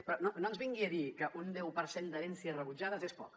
però no ens vingui a dir que un deu per cent d’herències rebutjades és poc